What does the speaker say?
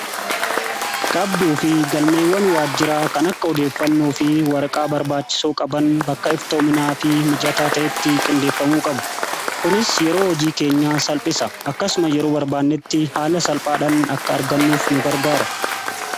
Qabduu fi galmeewwan waajjiraa kan akka odeeffannoo fi waraqaa barbaachisoo qaban bakka iftoominaa fi mijataa ta'etti qindeeffamuu qabu. Kunis yeroo hojii keenya salphisa. Akkasuma yeroo barbaannetti haala salphaadhaan akka argannuuf nu gargaara.